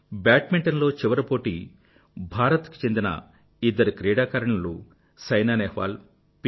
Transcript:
badminton లో చివరి పోటీ భారత్ కి చెందిన ఇద్దరు క్రీడాకారిణులు సైనా నెహ్వాల్ పి